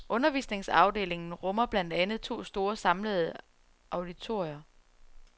Undervisningsafdelingen rummer blandt andet to store samlende auditorier.